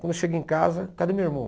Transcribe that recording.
Quando eu cheguei em casa, cadê meu irmão?